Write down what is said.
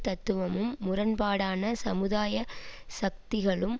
தத்துவமும் முரண்பாடான சமுதாய சக்திகளும்